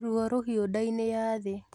Ruo rũhiũ ndainĩ ya thĩ